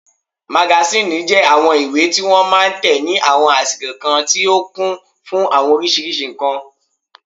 Magasíìnì jẹ́ àwọn ìwé tí wọ́n máa n tẹ ní àwọn àsìkò kan tó kún fún àwọn oríṣiríṣi ǹkan